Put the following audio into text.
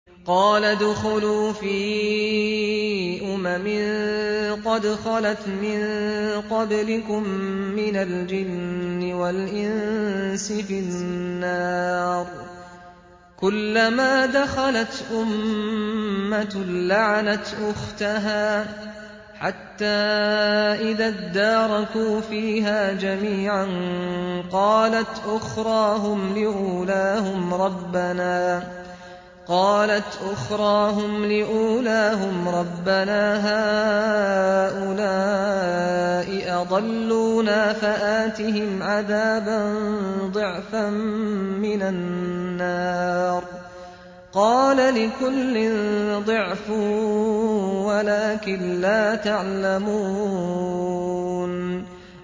قَالَ ادْخُلُوا فِي أُمَمٍ قَدْ خَلَتْ مِن قَبْلِكُم مِّنَ الْجِنِّ وَالْإِنسِ فِي النَّارِ ۖ كُلَّمَا دَخَلَتْ أُمَّةٌ لَّعَنَتْ أُخْتَهَا ۖ حَتَّىٰ إِذَا ادَّارَكُوا فِيهَا جَمِيعًا قَالَتْ أُخْرَاهُمْ لِأُولَاهُمْ رَبَّنَا هَٰؤُلَاءِ أَضَلُّونَا فَآتِهِمْ عَذَابًا ضِعْفًا مِّنَ النَّارِ ۖ قَالَ لِكُلٍّ ضِعْفٌ وَلَٰكِن لَّا تَعْلَمُونَ